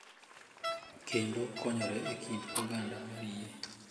Kendo konyore e kind oganda mar yie.